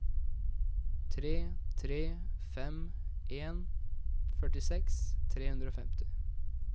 tre tre fem en førtiseks tre hundre og femti